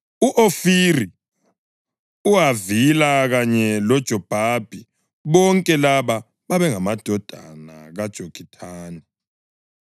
u-Ofiri, uHavila kanye loJobhabhi. Bonke laba babengamadodana kaJokithani.